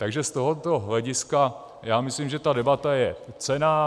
Takže z tohoto hlediska si myslím, že ta debata je cenná.